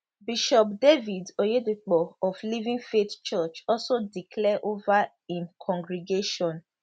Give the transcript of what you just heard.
bishop david oyedepo of living faith church also declare over im congregation